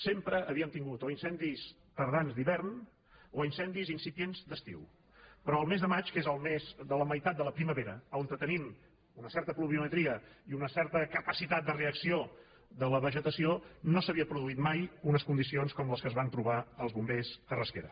sempre havíem tingut o incendis tardans d’hivern o incendis incipients d’estiu però el mes de maig que és el mes de la meitat de la primavera on tenim una certa pluviometria i una certa capacitat de reacció de la vegetació no s’havien produït mai unes condicions com les que es van trobar els bombers a rasquera